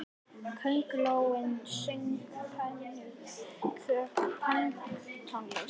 Köngulóin söng pönktónlist!